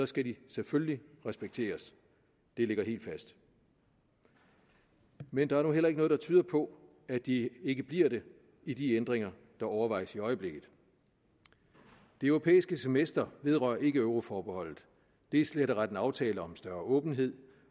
skal de selvfølgelig respekteres det ligger helt fast men der er nu heller ikke noget der tyder på at de ikke bliver det i de ændringer der overvejes i øjeblikket det europæiske semester vedrører ikke euroforbeholdet det er slet og ret en aftale om større åbenhed